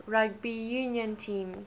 rugby union teams